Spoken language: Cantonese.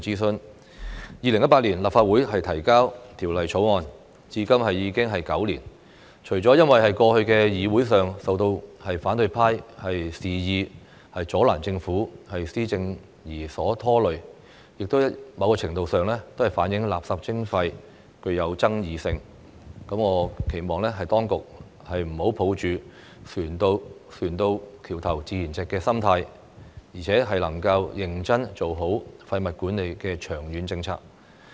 政府於2018年向立法會提交《2018年廢物處置條例草案》，至今歷時9年，除了因為過去在議會上受到反對派肆意阻攔政府施政而被拖累，某程度亦反映垃圾徵費具有爭議性，我期望當局不要抱着船到橋頭自然直的心態，而是能夠認真做好廢物管理的長遠政策。